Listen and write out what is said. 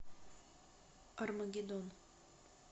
армагеддон